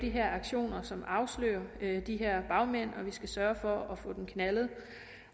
aktioner som afslører de her bagmænd og vi skal sørge for at få dem knaldet